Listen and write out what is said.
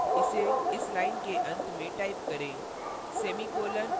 इसलिए इसे इस line के अंत में type करें